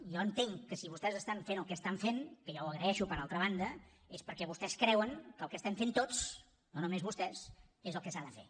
jo entenc que si vostès estan fent el que estan fent que jo ho agraeixo per altra banda és perquè vostès creuen que el que estem fent tots no només vostès és el que s’ha de fer